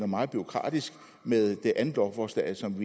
meget bureaukratisk med det andet lovforslag som vi